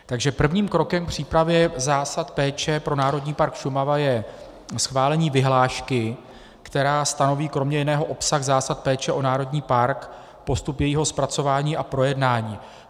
Takže prvním krokem k přípravě zásad péče pro Národní park Šumava je schválení vyhlášky, která stanoví kromě jiného obsah zásad péče o národní park, postup jejího zpracování a projednání.